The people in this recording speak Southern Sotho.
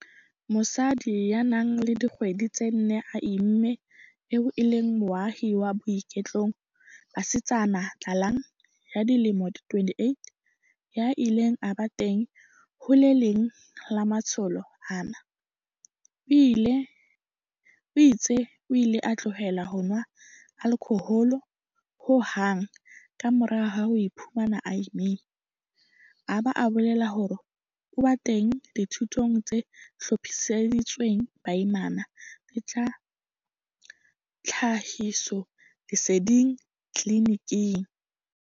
Mosadi ya nang le dikgwedi tse nne a imme eo e leng moahi wa Boitekong, Basetsana Tlalang, ya dilemo di 28, ya ileng a ba teng ho le leng la matsholo ana, o itse o ile a tlohela ho nwa alkhohole ho hang ka mora ho iphumana a imme, a ba a bolela hore o ba teng dithutong tse hlophiseditsweng baimana le tsa tlhahisoleseding tliliniking.